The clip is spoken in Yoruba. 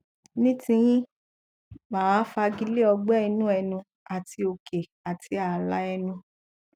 ní ti yín mà á fagilé ọgbẹ inú ẹnu àti òkè àti ààlà ẹnu